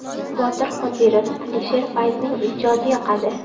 Botir Qodirov, Alisher Fayzning ijodi yoqadi.